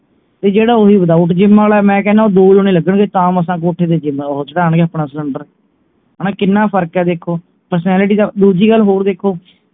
ਤੇ ਜਿਹੜਾ ਓਹੀ without gym ਆਲੇ ਮੈਂ ਕਹਿਨਾਂ ਉਹ ਦੋ ਜਣੇ ਲਗਣਗੇ ਤਾਂ ਮਸਾਂ ਕੋਠੇ ਤੇ ਉਹ ਚਢਾਣਗੇ ਆਪਣਾ ਸਿਲੰਡਰ ਹਣਾ ਕਿੰਨਾ ਫਰਕ ਹੈ ਦੇਖੋ personality ਦਾ ਦੂਜੀ ਗੱਲ ਹੋਰ ਦੇਖੋ